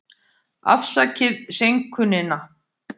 Afsakið seinkunina.